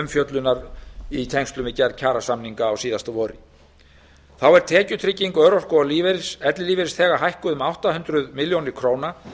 umfjöllunar í tengslum við gerð kjarasamninga á síðasta vori þá er tekjutrygging örorku og ellilífeyrisþega hækkuð um átta hundruð milljóna króna